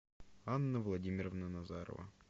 анна владимировна назарова